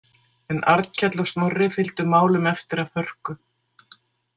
En Arnkell og Snorri fylgdu málum eftir af hörku.